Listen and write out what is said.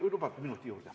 Kui saaks minuti juurde.